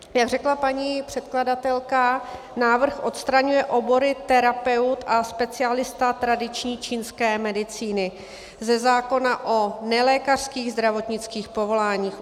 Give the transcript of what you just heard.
Jak řekla paní předkladatelka, návrh odstraňuje obory terapeut a specialista tradiční čínské medicíny ze zákona o nelékařských zdravotnických povoláních.